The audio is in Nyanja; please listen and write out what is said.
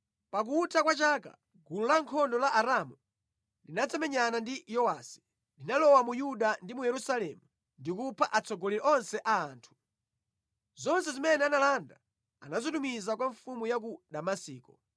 Pakutha kwa chaka, gulu lankhondo la Aramu linadzamenyana ndi Yowasi. Linalowa mu Yuda ndi mu Yerusalemu ndi kupha atsogoleri onse a anthu. Zonse zimene analanda anazitumiza kwa mfumu ya ku Damasiko.